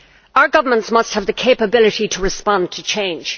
Our governments must have the ability to respond to change.